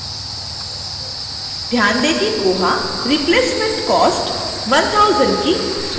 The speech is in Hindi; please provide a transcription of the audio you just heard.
ध्यान दें कि koha replacement cost 1000 की स्वतः गणना करेगा